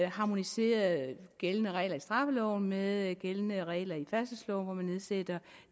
harmoniseret gældende regler i straffeloven med gældende regler i færdselsloven hvor man nedsætter